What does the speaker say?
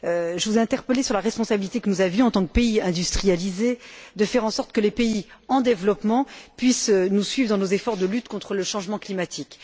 Je vous interpellais sur la responsabilité que nous avions en tant que pays industrialisés de faire en sorte que les pays en développement puissent nous suivre dans nos efforts de lutte contre le changement climatique.